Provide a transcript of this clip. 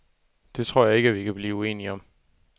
Det tror jeg ikke, at vi kan blive uenige om.